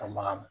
Ka baga